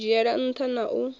u dzhiela nṱha na u